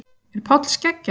Er Páll skeggjaður?